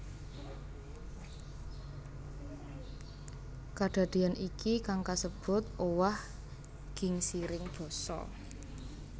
Kadadéyan iki kang kasebut owah gingsiring basa